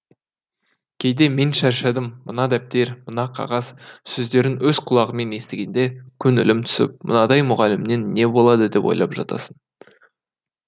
кейде мен шаршадым мына дәптер мына қағаз сөздерін өз құлағымен естігенде көңілім түсіп мынадай мұғалімнен не болады деп ойлап жатасын